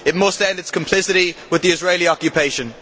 It must end its complicity with the Israeli occupation.